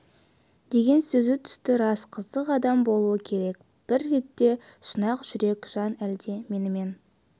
деген сөзі түсті рас қызық адам болуы керек бір ретте шын ақ жүрек жан әлде менімен